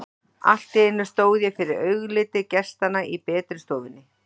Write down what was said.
Allt í einu stóð ég fyrir augliti gestanna í betri stofunni.